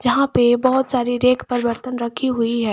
यहां पे बहोत सारी रैक पर वर्तन रखी हुई है।